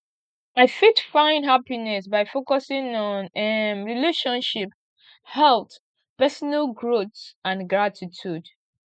i fit find happiness by focusing on um relationships health personal growth and gratitude